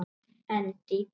En dýpra?